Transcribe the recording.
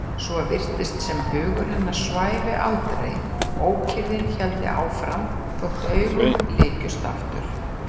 Svo virtist sem hugur hennar svæfi aldrei, ókyrrðin héldi áfram þótt augun lykjust aftur.